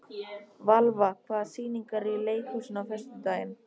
Valva, hvaða sýningar eru í leikhúsinu á föstudaginn?